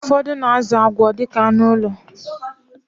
Ụfọdụ na-azụ agwọ dịka anụ ụlọ